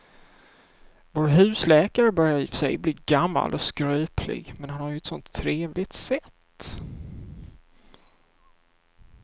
Vår husläkare börjar i och för sig bli gammal och skröplig, men han har ju ett sådant trevligt sätt!